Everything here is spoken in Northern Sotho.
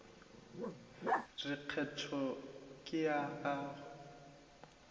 re kgetho ke ya gago